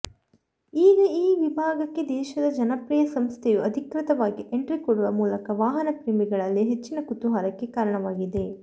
ಈಗ ಈ ವಿಭಾಗಕ್ಕೆ ದೇಶದ ಜನಪ್ರಿಯ ಸಂಸ್ಥೆಯು ಅಧಿಕೃತವಾಗಿ ಎಂಟ್ರಿ ಕೊಡುವ ಮೂಲಕ ವಾಹನ ಪ್ರೇಮಿಗಳಲ್ಲಿ ಹೆಚ್ಚಿನ ಕುತೂಹಲಕ್ಕೆ ಕಾರಣವಾಗಿದೆ